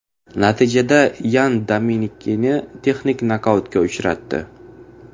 Natijada Yan Dominikini texnik nokautga uchratdi.